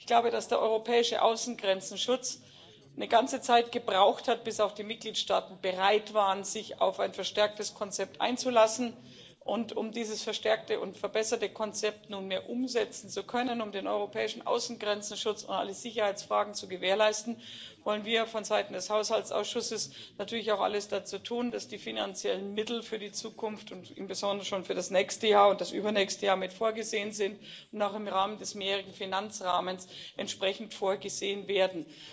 Ich glaube, dass der europäische Außengrenzenschutz eine ganze Zeit gebraucht hat, bis auch die Mitgliedstaaten bereit waren, sich auf ein verstärktes Konzept einzulassen, und um dieses verstärkte und verbesserte Konzept nunmehr umsetzen zu können, um den europäischen Außengrenzenschutz und alle Sicherheitsfragen zu gewährleisten, wollen wir von Seiten des Haushaltsausschusses natürlich auch alles dazu tun, dass die finanziellen Mittel für die Zukunft und im Besonderen schon für das nächste Jahr und das übernächste Jahr mit vorgesehen sind und auch im Rahmen des mehrjährigen Finanzrahmens entsprechend vorgesehen werden.